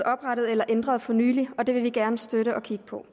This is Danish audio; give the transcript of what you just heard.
oprettet eller ændret for nylig og det vil vi gerne støtte at kigge på